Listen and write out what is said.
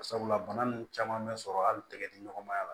Sabula bana nunnu caman bɛ sɔrɔ hali tɛgɛ di ɲɔgɔnmaya la